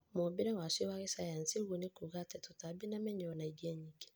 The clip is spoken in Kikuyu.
Mũũmbĩre wacio wa kĩsayansi ũguo nĩkuga atĩ tũtambi na mĩnyoo naingĩ nyingĩ